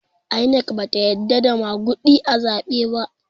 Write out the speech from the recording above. INEC bata yadda da maguɗi a zaɓe ba